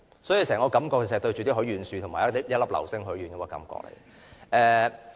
所以，整個感覺像是對着許願樹和一顆流星許願。